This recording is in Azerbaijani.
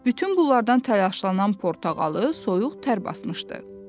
Bütün bunlardan təlaşlanan portağalı soyuq tər basmışdı.